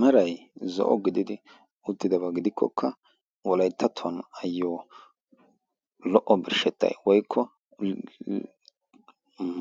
marai zo'o gididi uttidabaa gidikkokka wolayttattuwan ayyo lo''o birshshettai woykko